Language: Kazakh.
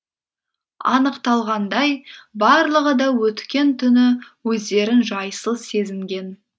анықталғандай барлығы да өткен түні өздерін жайсыз сезінген